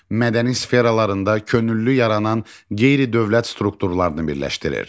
Mədəni sferalarında könüllü yaranan qeyri-dövlət strukturlarını birləşdirir.